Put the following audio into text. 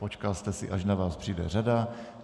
Počkal jste si, až na vás vyjde řada.